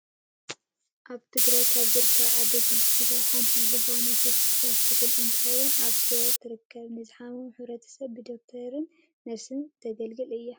ኣብ ትግራይ ካብ ዝርከባ ዓበይቲ ሆስፒታላት ሓንቲ ዝኮነት ሆስፒታል ሱሑል እንትከውን ኣብ ሽረ ትርከብ። ንዝሓመመ ሕብረተሰብ ብዶክቶራትን ነርስታትን እተገልግል እያ።